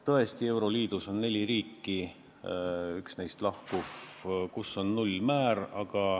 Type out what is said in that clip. Tõesti, euroliidus on neli riiki, üks neist millalgi lahkuv, kus on nullmäär.